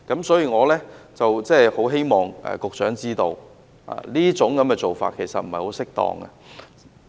所以，我希望局長知道這樣做並不適當。